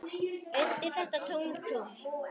undir þetta tungl, tungl.